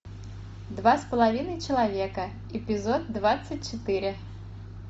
два с половиной человека эпизод двадцать четыре